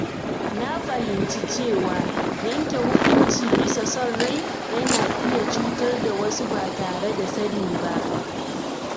Na fahimci cewa yanke hukunci bisa son rai yana iya cutar da wasu ba tare da sani ba.